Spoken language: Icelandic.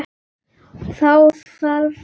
Þá þarf að skera.